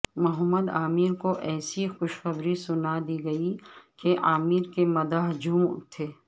محمد عامر کو ایسی خوشخبری سنا دی گئی کہ عامر کے مداح جھوم اٹھے